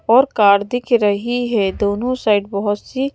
और कार दिख रही है दोनों साइड बहुत सी--